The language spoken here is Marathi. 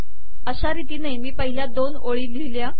अशा रितीने मी पहिल्या दोन ओळी लिहिल्या